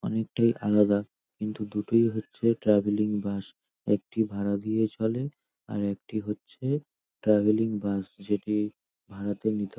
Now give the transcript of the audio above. অনেকটাই আলাদা দুটোই হচ্ছে ট্রাভেলিং বাস । একটি ভাড়া দিয়ে চলে আরেকটি হচ্ছে ট্রাভেলিং বাস যেটি ভাড়াতে নিতে হয়।